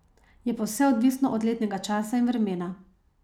Je pa vse odvisno od letnega časa in vremena.